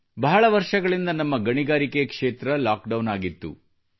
ಬಹಳ ವರ್ಷಗಳಿಂದ ನಮ್ಮ ಗಣಿಗಾರಿಕೆ ಕ್ಷೇತ್ರವು ಲಾಕ್ಡೌನ್ ಆಗಿತ್ತು